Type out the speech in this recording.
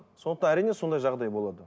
сондықтан әрине сондай жағдай болады